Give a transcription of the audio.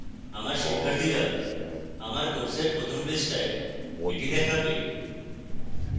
আমার শিক্ষার্থীরা আমার কোর্সের প্রথম পৃষ্ঠায় এটি দেখবে